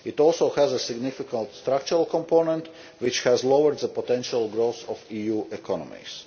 It also has a significant structural component, which has lowered the potential growth of EU economies.